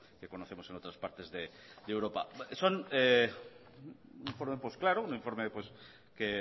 que conocemos en otras partes de europa son un informe claro un informe que